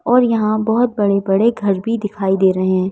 और यहाँ बहुत बड़े-बड़े घर भी दिखाई दे रहे हैं।